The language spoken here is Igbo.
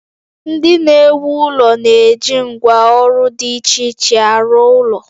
Ndị na-ewu ụlọ na-eji ngwá ọrụ dị iche iche arụ ụlọ